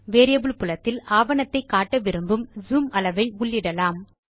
variable புலத்தில் ஆவணத்தை காட்ட விரும்பும் ஜூம் அளவை உள்ளிடலாம்